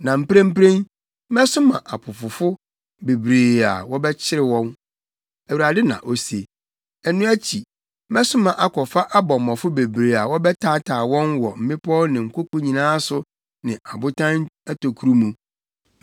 “Na mprempren, mɛsoma apopofo bebree a wɔbɛkyere wɔn.” Awurade na ose. “Ɛno akyi, mɛsoma akɔfa abɔmmɔfo bebree a wɔbɛtaataa wɔn wɔ mmepɔw ne nkoko nyinaa so ne abotan atokuru mu.